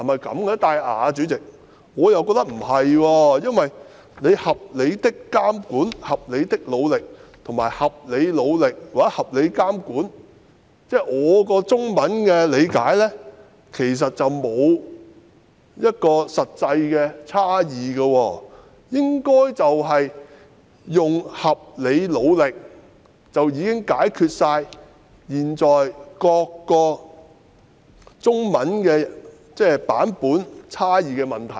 以我對中文的理解，"合理的監管"、"合理的努力"與"合理努力或合理監管"，其實並無實際差異，以"合理努力"應該足以解決現時各個中文文本差異的問題。